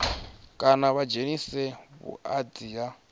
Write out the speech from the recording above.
kana vha dzhenise vhuanzi ha